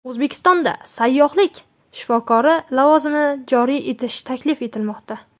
O‘zbekistonda sayyohlik shifokori lavozimini joriy etish taklif etilmoqda.